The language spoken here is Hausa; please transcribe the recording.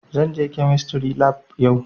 Zan je kemistry lab yau